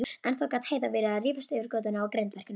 Ennþá gat Heiða verið að rífast yfir götunum á grindverkinu.